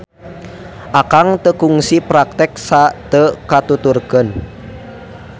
Akang teu kungsi praktek sa teu katuturkeun.